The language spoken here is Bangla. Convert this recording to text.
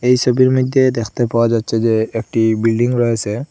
এই সবির মধ্যে দেখতে পাওয়া যাচ্ছে যে একটি বিল্ডিং রয়েসে।